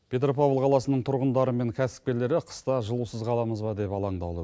петропавл қаласының тұрғындары мен кәсіпкерлері қыста жылусыз қаламыз ба деп алаңдаулы